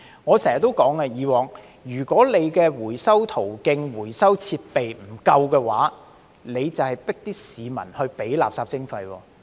我以往經常說，如果回收途徑、回收設備不足夠，當局便是強迫市民支付垃圾徵費。